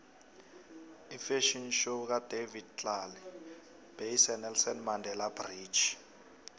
ifafhion show kadavid tlale beyise nelson mandele bridge